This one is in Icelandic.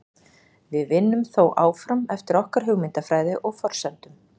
Við vinnum þó áfram eftir okkar hugmyndafræði og forsendum.